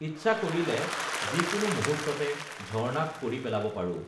ইচ্ছা কৰিলে যিকোনো মুহূৰ্ততে ঝৰ্ণাক কৰি পেলাব পাৰোঁ